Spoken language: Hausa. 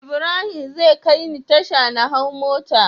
Ibrahim zai kai ni tasha na hau mota